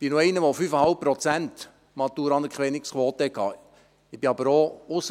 Ich bin einer, der noch eine Maturaanerkennungsquote von fast 5 Prozent hatte.